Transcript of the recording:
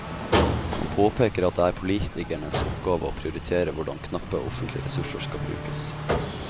Han påpeker at det er politikernes oppgave å prioritere hvordan knappe offentlige ressurser skal brukes.